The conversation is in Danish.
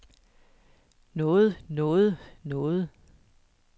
noget noget noget